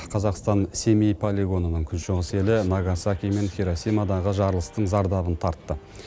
қазақстан семей полигонының күншығыс елі нагасаки мен хиросимадағы жарылыстың зардабын тартты